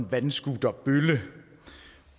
vandscooterbølle